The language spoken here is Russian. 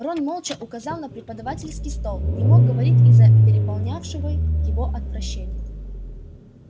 рон молча указал на преподавательский стол не мог говорить из-за переполнявшего его отвращения